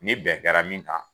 Ni bɛn kɛra min kan